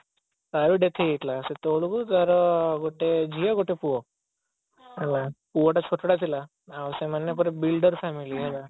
ତାର ବି death ହେଇଯାଇଥିଲା ସେତେବେଳକୁ ତାର ଗୋଟେ ପୁଅ ଗୋଟେ ଝିଅ ହେଲା ପୁଅଟା ଛୋଟଟା ଥିଲା ଆଉ ସେମାନେ ପୁଣି builder family ହେଲା